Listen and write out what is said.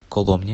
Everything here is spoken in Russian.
коломне